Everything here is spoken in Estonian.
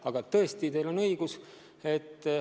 Aga teil on õigus.